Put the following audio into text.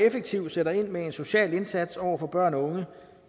effektivt sætter ind med en social indsats over for børn og unge